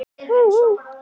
og stúlkan stígur dansinn